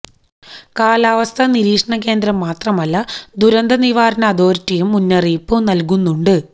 കാലാവസ്ഥാ നിരീക്ഷണ കേന്ദ്രം മാത്രമല്ല ദുരന്ത നിവാരണ അതോറിറ്റിയും മുന്നറിയിപ്പ് നല്കുന്നുണ്ട്